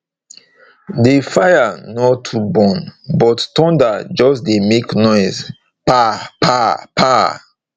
the fire no too burn but thunder just dey make noise pa pa pa